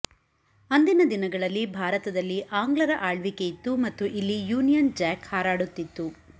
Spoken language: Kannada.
ಅಂದಿನ ದಿನಗಳಲ್ಲಿ ಭಾರತದಲ್ಲಿ ಆಂಗ್ಲರ ಆಳ್ವಿಕೆಯಿತ್ತು ಮತ್ತು ಇಲ್ಲಿ ಯೂನಿಯನ್ ಜ್ಯಾಕ್ ಹಾರಾಡುತ್ತಿತ್ತು